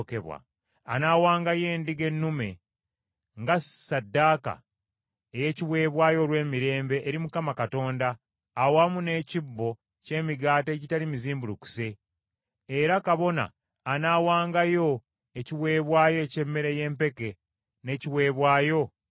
Anaawangayo endiga ennume nga ssaddaaka ey’ekiweebwayo olw’emirembe eri Mukama Katonda awamu n’ekibbo ky’emigaati egitali mizimbulukuse; era kabona anaawangayo ekiweebwayo eky’emmere y’empeke n’ekiweebwayo eky’ebyokunywa.